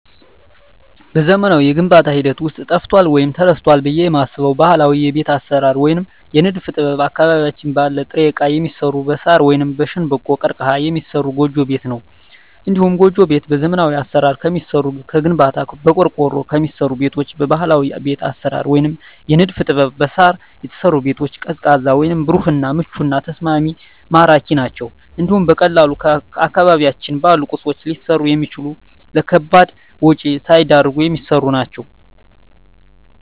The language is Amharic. በዘመናዊው የግንባታ ሂደት ውስጥ ጠፍቷል ወይም ተረስቷል ብየ የማስበው ባህላዊ የቤት አሰራር ወይም የንድፍ ጥበብ አካባቢያችን ባለ ጥሬ እቃ የሚሰራ በሳር ወይም በሸንበቆ(ቀርቀሀ) የሚሰራ ጎጆ ቤት ነው። እንዲሁም ጎጆ ቤት በዘመናዊ አሰራር ከሚሰሩ ከግንባታ፣ በቆርቆሮ ከሚሰሩ ቤቶች በባህላዊ ቤት አሰራር ወይም የንድፍ ጥበብ በሳር የተሰሩ ቤቶች ቀዝቃዛ ወይም ብሩህ እና ምቹና ተስማሚ ማራኪ ናቸው እንዲሁም በቀላሉ አካባቢያችን ባሉ ቁሶች ሊሰሩ የሚችሉ ለከባድ ወጭ ሳይዳርጉ የሚሰሩ ናቸው።